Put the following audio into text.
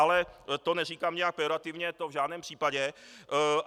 Ale to neříkám nějak pejorativně, to v žádném případě.